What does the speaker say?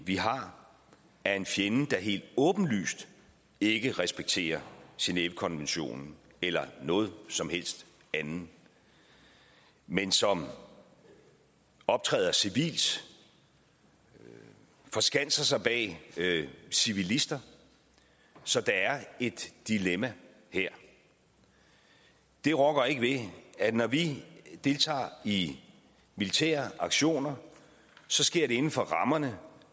vi har er en fjende der helt åbenlyst ikke respekterer genèvekonventionen eller noget som helst andet men som optræder civilt og forskanser sig bag civilister så der er et dilemma her det rokker ikke ved at når vi deltager i militære aktioner så sker det inden for rammerne